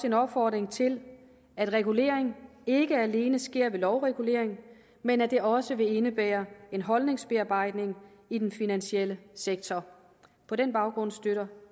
en opfordring til at regulering ikke alene sker ved lovregulering men at det også vil indebære en holdningsbearbejdning i den finansielle sektor på den baggrund støtter